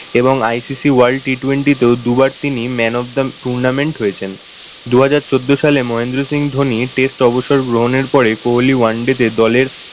এবং ICC world T twenty তেওঁ দুবার তিনি man of the tournament হয়েছেন। দুহাজার চোদ্দ সালে মহেন্দ্র সিং ধনী test অবসর গ্রহনের পরে কোহলি one day তে দলের